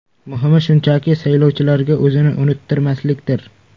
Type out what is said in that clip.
Muhimi shunchaki, saylovchilarga o‘zini unuttirmaslikdir.